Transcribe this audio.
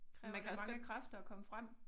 Kræver det mange kræfter at komme frem?